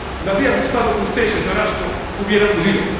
Me habría gustado que usted, señora Ashton, hubiera acudido.